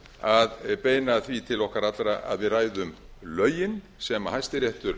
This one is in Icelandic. að beina því til okkar allra að við ræðum lögin sem hæstiréttur